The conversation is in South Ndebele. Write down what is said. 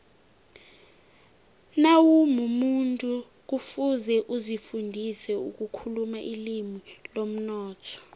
nawumumuntu kufuze uzifundise ukukhuluma ilimi lomnotho